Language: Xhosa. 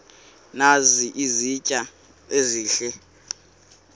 nazi izitya ezihle